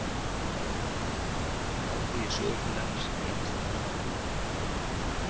En áhugi sögukennarans beinist að annarri mynd.